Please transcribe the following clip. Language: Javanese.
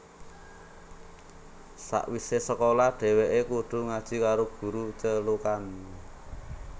Sawise sekolah dheweke kudu ngaji karo guru celukan